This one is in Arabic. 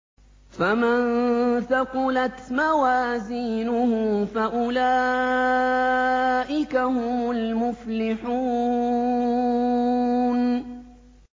فَمَن ثَقُلَتْ مَوَازِينُهُ فَأُولَٰئِكَ هُمُ الْمُفْلِحُونَ